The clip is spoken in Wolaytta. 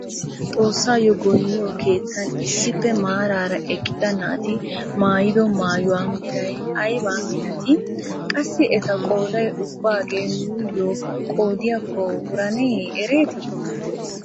Xoossayo goynniyo keettan issippe maarara eqqida naati maayido maayuwaa meray ayabaa milatii? Qassi eta qooday ubbagee nuuyo qoodiyaakko wuranee eretii?